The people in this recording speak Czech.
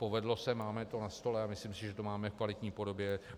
Povedlo se, máme to na stole a myslím si, že to máme v kvalitní podobě.